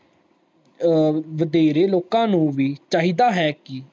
ਵਧੇਰੇ ਲੋਕਾਂ ਨੂੰ ਵੀ ਚਾਹੀਦਾ ਹੈ ਕਿ